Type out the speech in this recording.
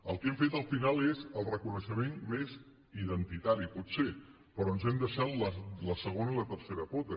el que hem fet al final és el reconeixement més identitari pot ser però ens hem deixat la segona i la tercera pota